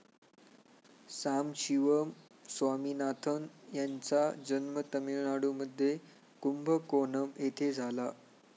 सांबशिवम स्वामीनाथन यांचा जन्म तमिळनाडूमध्ये कुंभकोणम येथे झाला.